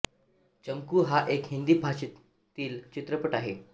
चमकू हा एक हिंदी भाषा भाषेतील चित्रपट आहे